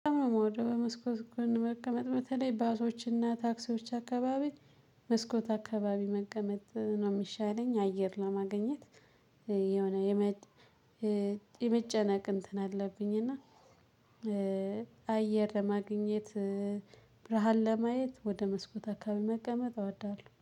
በጣም ነው የምወደው በመስኮት ጎን መቀመጥ በተለይ ባሶችና ታክሲዎች አካባቢ መስኮት አካባቢ መቀመጥ ነው የሚሻለኝ አየር ለማግኘት። የሆነ የመጨነቅ እንትን አለብኝ። እና አየር ለማግኘት ብርሃን ለማየት ወደ መስኮት አካባቢ መቀመጥ እወዳለሁ